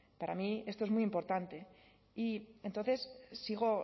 para mí esto es muy importante y entonces sigo